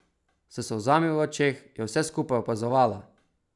S solzami v očeh je vse skupaj opazovala!